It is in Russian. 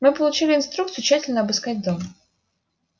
мы получили инструкцию тщательно обыскать дом